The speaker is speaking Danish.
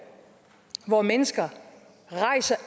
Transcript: hvor mennesker